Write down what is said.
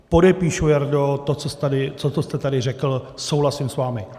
Podepíšu, Jardo, to, co jste tady řekl, souhlasím s vámi.